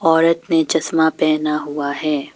औरत ने चस्मा पहना हुआ है।